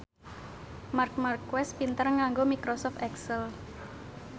Marc Marquez pinter nganggo microsoft excel